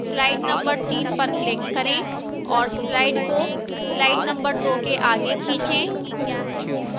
slide number 3 पर click करें और slide को slide number 2 के आगे खींचें